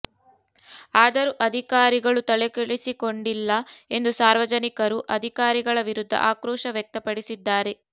ಆದರೂ ಅಧಿಕಾರಿಗಳು ತಲೆ ಕೆಡಿಸಿಕೊಂಡಿಲ್ಲ ಎಂದು ಸಾರ್ವಜನಿಕರು ಅಧಿಕಾರಿಗಳ ವಿರುದ್ಧ ಆಕ್ರೋಶ ವ್ಯಕ್ತಪಡಿಸಿದ್ದಾರೆ